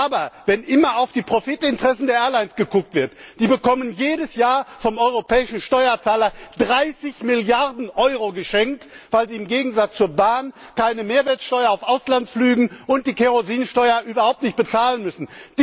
Aber wenn immer auf die Profitinteressen der Airlines geschaut wird Die bekommen jedes Jahr vom europäischen Steuerzahler 30 Milliarden Euro geschenkt, weil sie im Gegensatz zur Bahn keine Mehrwertsteuer auf Auslandsverbindungen und keine Kerosinsteuer bezahlen müssen.